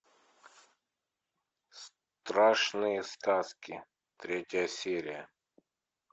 страшные сказки третья серия